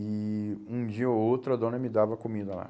E um dia ou outro a dona me dava comida lá.